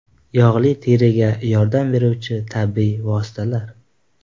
Yog‘li teriga yordam beruvchi tabiiy vositalar.